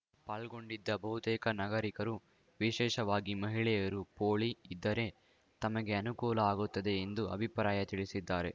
ಪಾಲ್ಗೊಂಡಿದ್ದ ಬಹುತೇಕ ನಾಗರೀಕರು ವಿಶೇಷವಾಗಿ ಮಹಿಳೆಯರು ಪೌಳಿ ಇದ್ದರೆ ತಮಗೆ ಅನುಕೂಲ ಆಗುತ್ತದೆ ಎಂದು ಅಭಿಪ್ರಾಯ ತಿಳಿಸಿದ್ದಾರೆ